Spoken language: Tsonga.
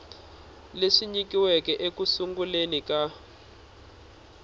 leswi nyikiweke eku sunguleni ka